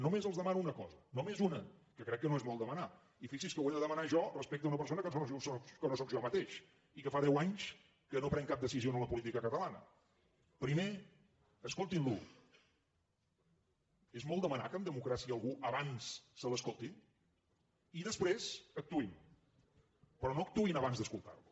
només els demano una cosa només una que crec que no és molt demanar i fixi’s que ho he de demanar jo respecte a una persona que no sóc jo mateix i que fa deu anys que no pren cap decisió en la política catalana primer escoltin lo és molt demanar que en democràcia a algú abans se l’escolti i després actuïn però no actuïn abans d’escoltar lo